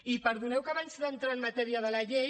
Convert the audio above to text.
i perdoneu que abans d’entrar en matèria de la llei